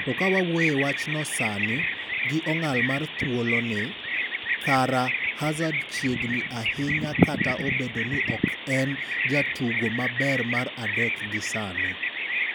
To kawa wawuoye e wachno sani, gi ong'ala mar thuolo ni, kara Hazard chiegni ahinya kata obedo ni ok en jatugo maber mar adek gi sani.